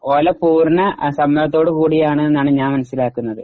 പൂർണ്ണ സമ്മതത്തോട് കൂടിയാണ് എന്നാണ് ഞാൻ മനസിലാകുന്നത്.